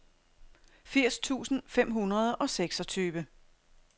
firs tusind fem hundrede og seksogtyve